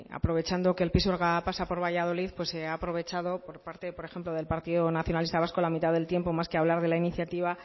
aprovechando que el pisuerga pasa por valladolid se ha aprovechado por parte de por ejemplo del partido nacionalista vasco la mitad del tiempo más que hablar de la iniciativa